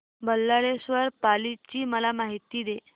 बल्लाळेश्वर पाली ची मला माहिती दे